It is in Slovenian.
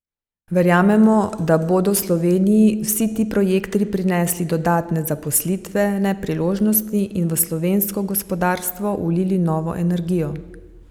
Verjamemo, da bodo Sloveniji vsi ti projekti prinesli dodatne zaposlitvene priložnosti in v slovensko gospodarstvo vlili novo energijo.